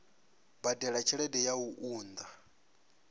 badela tshelede ya u unḓa